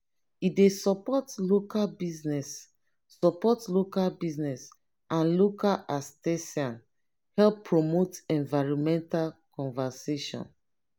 e dey suppot local busines suppot local busines and local artisan help promote environmental conservation.